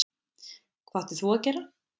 Hvað áttir þú að gera?